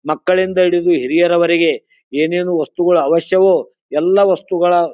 ಮಕ್ಕಳಿಂದ ಹಿಡಿದು ಹಿರಿಯರವರೆಗೆ ಏನ್ ಏನು ವಸ್ತುಗಳ ಅವಶ್ಯಯೋ ಎಲ್ಲ ವಸ್ತುಗಳ --